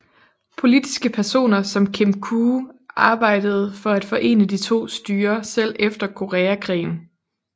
Politiske personer som Kim Koo arbejdede for at forene de to styrer selv efter koreakrigen